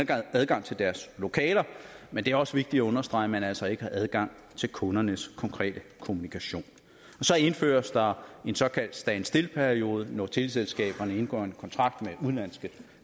adgang til deres lokaler men det er også vigtigt at understrege at man altså ikke har adgang til kundernes konkrete kommunikation så indføres der en såkaldt standstillperiode når teleselskaberne indgår en kontrakt med udenlandske